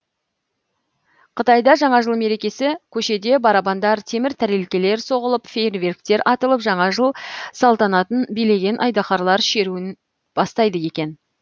қытайда жаңа жыл мерекесі көшеде барабандар темір тәрелкелер соғылып фейерверктер атылып жаңа жыл салтанатын билеген айдаһарлар шеруін бастайды екен